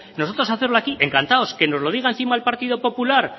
nosotros hacerlo aquí encantados que nos lo diga encima el partido popular